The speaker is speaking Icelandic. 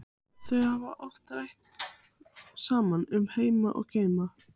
Þau hafa oft rætt saman um heima og geima.